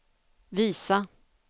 visa